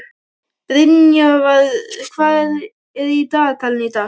Brynjar, hvað er í dagatalinu í dag?